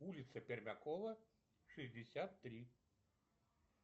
улица пермякова шестьдесят три